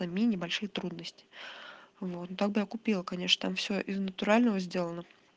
это мини большой трудности вот ну тогда купила конечно там все из натурального сделано